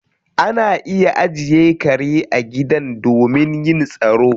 Ana iya ajiye kare a gidan domin yin tsaro